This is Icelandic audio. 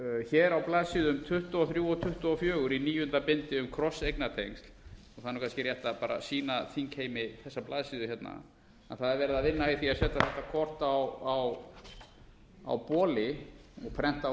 hér á blaðsíðu tuttugu og þrjú og tuttugu og fjögur í níunda bindi um krosseigna tengsl og það er kannski rétt að bara sýna þingheimi þessa blaðsíðu hérna að það er verið að vinna í því að setja þetta kort á boli og prenta